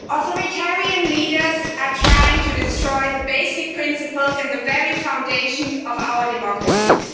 Authoritarian leaders are trying to destroy the basic principles and the very foundations of our democracies.